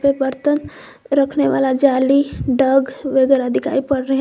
बर्तन रखने वाला जाली डग वगैरह दिखाई पड़ रहे हैं।